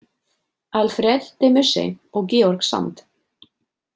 „Alfred de Musset og Georg Sand.“